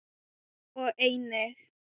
og einnig